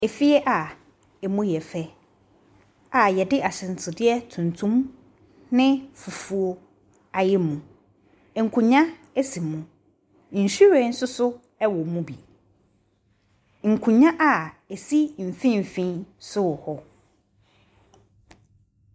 Efie a ɛmu yɛ fɛ a wɔde ahyɛnsodeɛ tuntum ne fufuo ayɛ mu. Nkonnwa si mu. Nhwiren nso so wɔ mu bi. Nkonnwa a ɛsi mfimfin nso wɔ hɔ.